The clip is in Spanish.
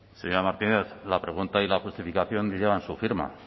señora martínez la pregunta y la justificación llevan su firma